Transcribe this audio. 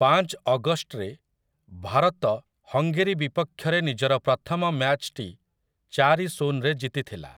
ପାଞ୍ଚ ଅଗଷ୍ଟରେ, ଭାରତ ହଙ୍ଗେରୀ ବିପକ୍ଷରେ ନିଜର ପ୍ରଥମ ମ୍ୟାଚ୍‌ଟି ଚାରି ଶୂନରେ ଜିତିଥିଲା ।